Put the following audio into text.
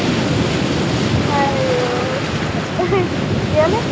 আইঐ কেলেই?